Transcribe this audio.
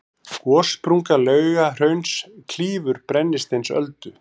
gossprunga laugahrauns klýfur brennisteinsöldu